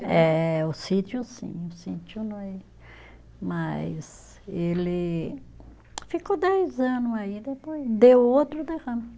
É, o sítio sim, o sítio não é. Mas ele ficou dez ano aí, depois deu outro derrame.